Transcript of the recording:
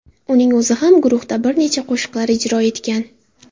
Uning o‘zi ham guruhda bir nechta qo‘shiqlar ijro etgan.